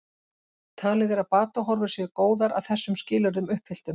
Talið er að batahorfur séu góðar að þessum skilyrðum uppfylltum.